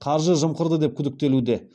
қаржы жымқырды деп күдіктелуде